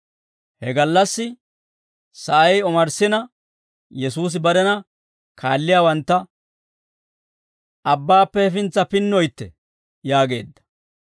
He gallassi sa'ay omarssina, Yesuusi barena kaalliyaawantta «Abbaappe hefintsa pinnoytte» yaageedda.